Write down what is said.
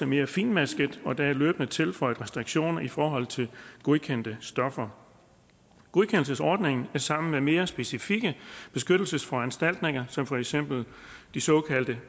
mere finmasket og der er løbende tilføjet restriktioner i forhold til godkendte stoffer godkendelsesordningen er sammen med mere specifikke beskyttelsesforanstaltninger som for eksempel de såkaldte